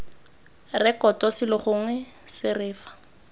rekoto selo gongwe sere fa